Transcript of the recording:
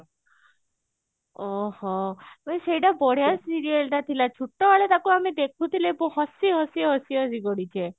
ଅ ହ ସେଇଟା ବଢିଆ serial ଟା ଥିଲା ଛୋଟବେଳେ ଆମେ ତାକୁ ଦେଖୁଥିଲେ ହସି ହସି ଗଡିଛେ